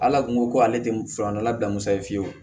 Ala kun ko ko ale tɛ furak'a la bila muso ye fiyewu